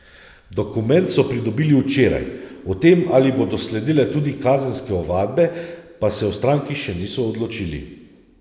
Dokument so pridobili včeraj, o tem, ali bodo sledile tudi kazenske ovadbe, pa se v stranki še niso odločili.